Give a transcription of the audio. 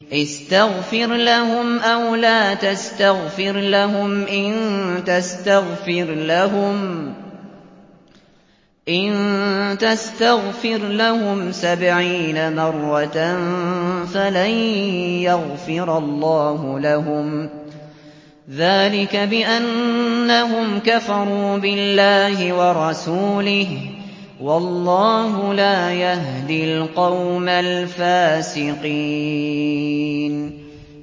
اسْتَغْفِرْ لَهُمْ أَوْ لَا تَسْتَغْفِرْ لَهُمْ إِن تَسْتَغْفِرْ لَهُمْ سَبْعِينَ مَرَّةً فَلَن يَغْفِرَ اللَّهُ لَهُمْ ۚ ذَٰلِكَ بِأَنَّهُمْ كَفَرُوا بِاللَّهِ وَرَسُولِهِ ۗ وَاللَّهُ لَا يَهْدِي الْقَوْمَ الْفَاسِقِينَ